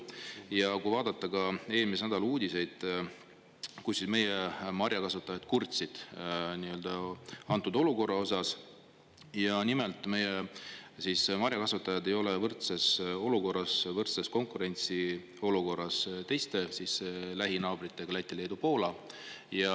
Ja kui vaadata ka eelmise nädala uudiseid, kus meie marjakasvatajad kurtsid antud olukorra osas, ja nimelt meie marjakasvatajad ei ole võrdses olukorras, võrdses konkurentsiolukorras teiste lähinaabritega, Läti-Leedu-Poolaga.